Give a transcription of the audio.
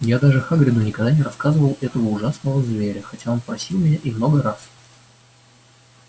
я даже хагриду никогда не называл этого ужасного зверя хотя он просил меня и много раз